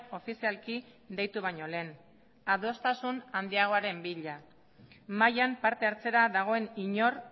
ofizialki deitu baino lehen adostasun handiagoaren bila mahaian parte hartzera dagoen inor